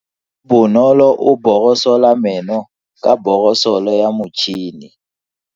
Bonolo o borosola meno ka borosolo ya motšhine.